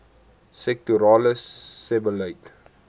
sektorale sebbeleid